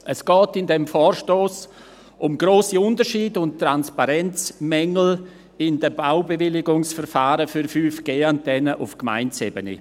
Es geht in diesem Vorstoss um grosse Unterschiede und Transparenzmängel in den Baubewilligungsverfahren für 5G-Antennen auf Gemeindeebene.